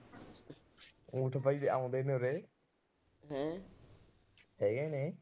ਊਠ ਬਾਈ ਆਉਂਦੇ ਨੇ ਉਰੇ। ਹੈਗੇ ਨੇ।